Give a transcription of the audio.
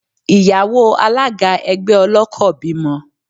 Ìyàwó Alága ẹgbẹ́ ọlọ́kọ̀ bímọ.